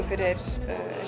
fyrir